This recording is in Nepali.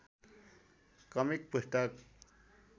कमिक पुस्तक